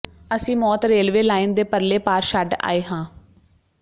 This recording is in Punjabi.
ਅਸੀਂ ਮੌਤ ਰੇਲਵੇ ਲਾਈਨ ਦੇ ਪਰਲੇ ਪਾਰ ਛੱਡ ਆਏ ਹਾਂ